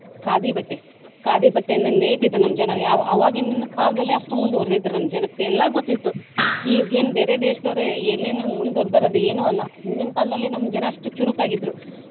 ಖಾದಿ ಬಟ್ಟೆ. ಖಾದಿ ಬಟ್ಟೆಯನ್ನ ನೇಯ್ತಿದ್ರು ಉಣ್ಣೋಕೆ ನಮ್ಮ ಜನ. ಯಾವ ಅವಾಗಿನ ಕಾಲದಲ್ಲೇ ಅಷ್ಟ ಮುಂದವರ್ದಿದ್ರ ನಮ್ಮ ಜನಕ್ಕ ಎಲ್ಲಾ ಗೊತ್ತಿತ್ತು ಈಗೇನ ಬೇರೆ ದೇಶದವ್ರ ಏನೇನೊ ಮುಂದವರ್ದಾರ ಅದ ಏನು ಅಲ್ಲ ಹಿಂದಿನ ಕಾಲದಲ್ಲೇ ನಮ್ಮ ಜನಾ ಅಷ್ಟ ಚುರುಕಾಗಿದ್ರು.